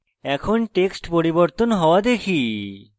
এখন text পরিবর্তন হওয়া দেখি